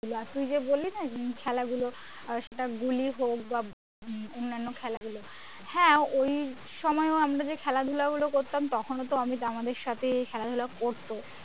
আর তুইযে বললি না খেলাধুলো সেটা গুলিই হোক বা অন্যান্য খেলাগুলোর হ্যাঁ ওইসময়ও আমি যে খেলাধুলো করতাম তখনও তো আমি আমাদের সাথে খেলাধুলো করতো